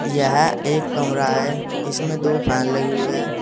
यह एक कमरा है इसमें दो फैन लगी हुई है।